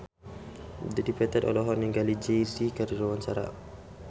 Dedi Petet olohok ningali Jay Z keur diwawancara